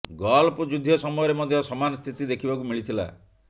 golf ଯୁଦ୍ଧ ସମୟରେ ମଧ୍ୟ ସମାନ ସ୍ଥିତି ଦେଖିବାକୁ ମିଳିଥିଲା